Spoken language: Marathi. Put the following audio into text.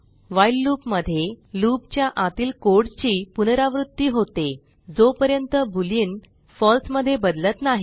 व्हाईल लूप मध्ये लूप च्या आतील कोडची पुनरावृत्ती होते जोपर्यंत बोलियन फळसे मध्ये बदलत नाही